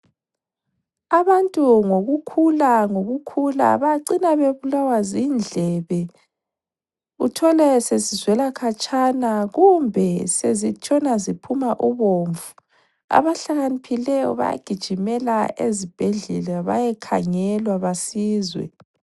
Abantu ngokukhula ngokukhula bacina bebulawa zindlebe uthole sezizwela khatshana kumbe sezitshona ziphuma ubomvu. Abahlakaniphileyo bayagijimela ezibhedlela bayekhangelwa besizwe.